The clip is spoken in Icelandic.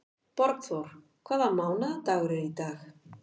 Borgþór, hvaða mánaðardagur er í dag?